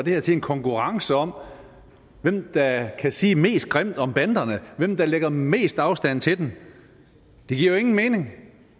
det her til en konkurrence om hvem der kan sige mest grimt om banderne hvem der lægger mest afstand til dem det giver jo ingen mening